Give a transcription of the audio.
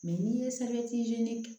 Mɛ n'i ye ɲini